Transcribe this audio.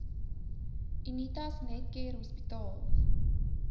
unitas netcare hospitaal